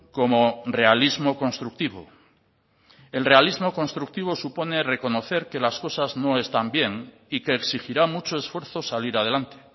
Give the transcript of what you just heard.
como realismo constructivo el realismo constructivo supone reconocer que las cosas no están bien y que exigirá mucho esfuerzo salir adelante